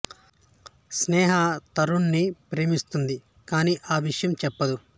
స్నేహ తరుణ్ ని ప్రేమిస్తుంది కాని ఆ విషయం చెప్పదు